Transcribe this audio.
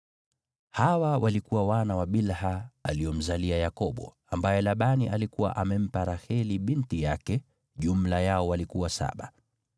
Hawa walikuwa wana wa Bilha aliomzalia Yakobo, ambaye Labani alikuwa amempa Raheli binti yake; jumla yao walikuwa saba.